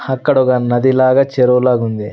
అక్కడ ఒక నది లాగా చెరువు లాగుంది.